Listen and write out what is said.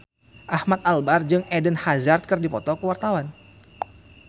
Ahmad Albar jeung Eden Hazard keur dipoto ku wartawan